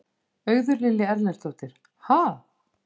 Auður Lilja Erlendsdóttir: Ha?